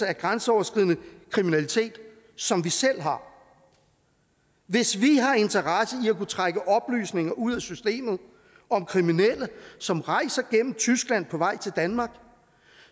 af grænseoverskridende kriminalitet som vi selv har hvis vi har interesse i at kunne trække oplysninger ud af systemet om kriminelle som rejser gennem tyskland på vej til danmark